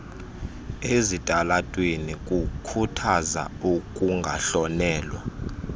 ezitalatweni kukhuthaza ukungahlonelwa